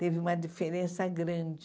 Teve uma diferença grande.